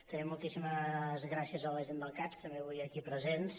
també moltíssimes gràcies a la gent del cads també avui aquí presents